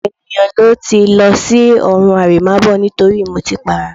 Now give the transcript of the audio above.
Ọ̀pọ̀ ènìyàn ló ti lọ sí ọ̀run àrèmábọ̀ nítorí ìmutípara